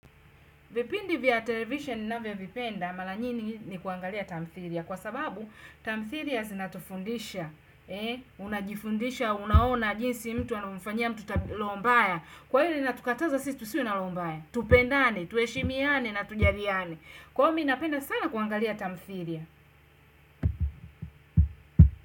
Vipindi vya television ninavyovipenda, mara nyingi ni kuangalia tamthiria. Kwa sababu, tamthiria zinatufundisha. Unajifundisha, unaona jinsi mtu anamfanyia mtu roho mbaya. Kwa hili linatukataza sisi, tusiwe na roho mbaya. Tupendane, tuheshimiane na tujaliane. Kwangu mimi napenda sana kuangalia tamthiria.